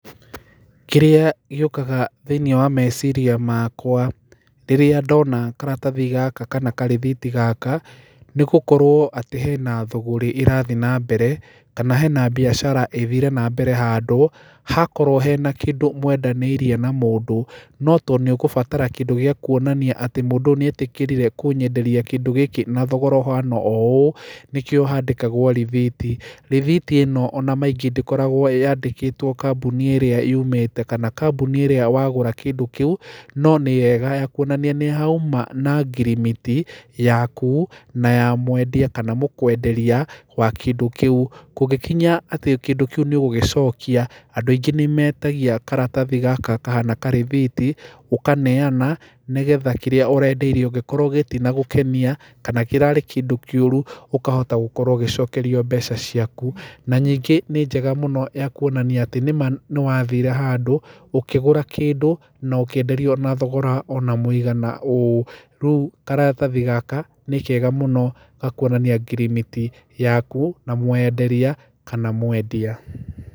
Kĩrĩa gĩũkaga thĩĩniĩ wa meciria makwa rĩrĩa ndona karatathi gaka kana karĩthiti gaka nĩ gũkorwo atĩ hena thũgũrĩ ĩrathĩe na mbere kana hena mbiacara ithĩre na mbere handũ hakorwo hena kĩndũ mwendanĩirie na mũndũ no tondu nĩũgũbatara kĩndũ gĩa kuonania atĩ mũndũ ũyũ nĩ etĩkĩrire kũnyenderia kĩndũ gĩkĩ na thogora ũhana ũũ nĩkĩo handĩkagwo rĩthiti, rĩthiti ĩno ona maingĩ ndĩkoragwo yandĩkĩtwo kambuni ĩrĩa yumĩte kana kambuni ĩrĩa wagũra kĩndũ kĩu no nĩ hega ya kũonania nĩ hauma na ngirimiti yaku na ya mwendia kana mũkũenderia wa kĩndũ kĩu kũngĩkinya kĩndũ kĩu nĩũgũgĩcokia andũ aingĩ nĩmetagia karatathi gaka kahana karĩthiti ũkaneana nĩgetha kĩrĩa ũrendeirio gingĩkorwo gĩtinagũkenia kana kĩrarĩ kĩndũ kĩũru ũkahota gũkorwo ũgĩcokerio mbeca ciaku, na nyingĩ nĩ njega mũno ya kuonania nĩwathire handũ ũkĩgũra kĩndũ na ũkĩenderio na thogora ona mũigana ũũ, rĩu karatathi gaka nĩ kega mũno ga kũonania ngirimiti yaku na mwenderia kana mwendia.